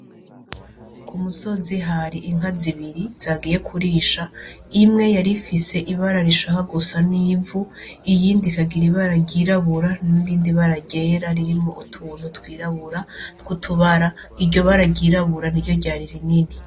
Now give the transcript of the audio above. K'umusozi hari inka zibiri zagiye kurisha imwe yarifise ibara rishaka gusa n'ivu iyindi ikagira ibara ry'iryirabura n'ibara ryera ririmwo utuntu twirabura tw'utubara iryo bara ry'irabura niryo ryari rinini.